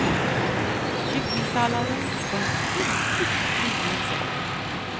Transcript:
Kycklingsalladen var en ynkligt liten sak.